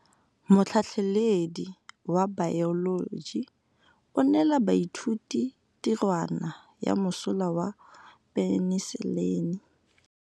Motlhatlhaledi wa baeloji o neela baithuti tirwana ya mosola wa peniselene.